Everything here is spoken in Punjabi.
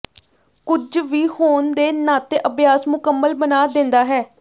ਕੁਝ ਵੀ ਹੋਣ ਦੇ ਨਾਤੇ ਅਭਿਆਸ ਮੁਕੰਮਲ ਬਣਾ ਦਿੰਦਾ ਹੈ